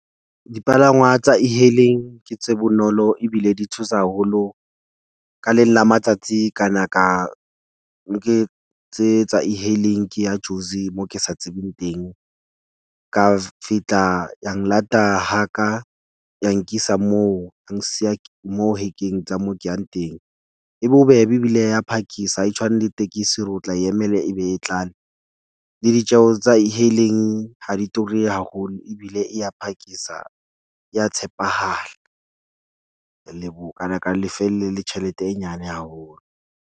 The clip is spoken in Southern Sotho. Dipalangwa tsa E-hailing ke tse bonolo ebile di tshosa haholo ka leng la matsatsi ka na ka nke tse tsa E- hailing ke ya Jozi, moo ke sa tsebeng teng. Ka fihla ya nlata haka, ya nkisa moo. Ya nsiya mo hekeng tsa moo ke yang teng. E bobebe ebile ya phakisa ha e tshwane le tekesi hore o tla e emela ebe e tlale. Le ditjeho tsa E-hailing ha di ture haholo ebile e ya phakisa ya tshepahala. ka na ka lefelle le tjhelete e nyane haholo.